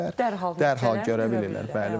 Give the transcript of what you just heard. Dərhal görə bilirlər, bəli.